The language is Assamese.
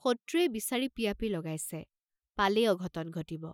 শত্ৰুয়ে বিচাৰি পিয়াপি লগাইছে, পালেই অঘটন ঘটিব।